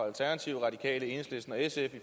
alternativet radikale enhedslisten og sf